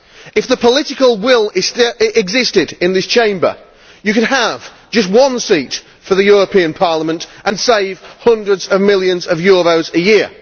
If the political will existed in this Chamber, you could have just one seat for the European Parliament and save hundreds of millions of euros a year.